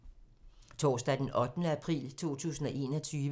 Torsdag d. 8. april 2021